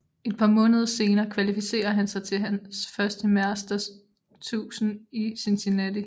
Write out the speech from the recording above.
Et par måneder senere kvalificerer han sig til hans første Masters 1000 i Cincinnati